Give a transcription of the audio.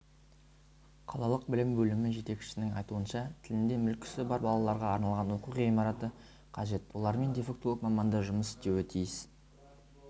қалалық білім бөлімі жетекшісінің айтуынша тілінде мүкісі бар балаларға арналған оқу ғимараты қажет олармен дефектолог мамандар жұмыс істеуі тиіс